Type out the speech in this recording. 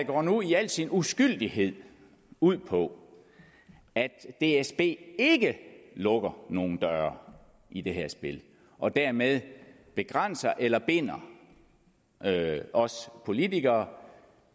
går nu i al sin uskyldighed ud på at dsb ikke lukker nogen døre i det her spil og dermed begrænser eller binder os politikere